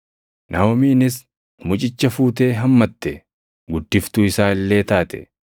Naaʼomiinis mucicha fuutee hammatte; guddiftuu isaa illee taate.